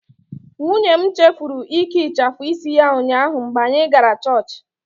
Nwunye m chefuru ike ịchafu isi ya ụnyaahụ mgbe anyị gara Church.